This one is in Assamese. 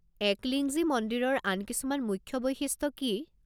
একলিংজী মন্দিৰৰ আন কিছুমান মুখ্য বৈশিষ্ট্য কি?